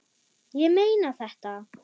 Ég meina þetta.